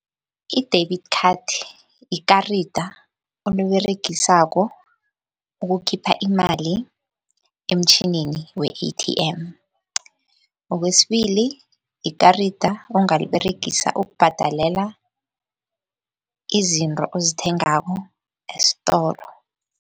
I-debit card, yikarada oliberegisako ukukhipha imali emtjhinini we-A_T_M. Okwesibili, yikarada ongaliberegisa ukubhadalela izinto ozithengako estolo.